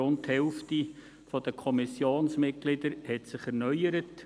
Etwa die Hälfte der Kommissionsmitglieder hat sich erneuert.